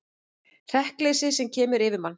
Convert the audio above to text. Hrekkleysið sem kemur yfir mann.